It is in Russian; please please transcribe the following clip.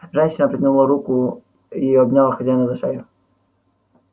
женщина протянула руки и обняла хозяина за шею